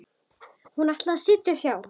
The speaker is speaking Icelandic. Hún ætlaði að sitja hjá.